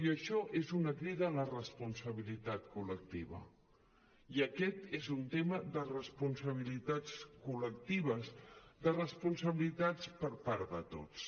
i això és una crida a la responsabilitat col·lectiva i aquest és un tema de responsabilitats col·lectives de responsabilitats per part de tots